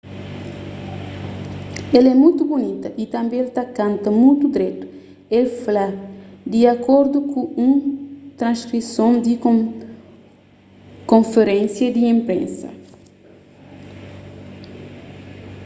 el é mutu bunita y tanbê el ta kanta mutu dretu el fla di akordu ku un transkrison di konferénsia di inpresa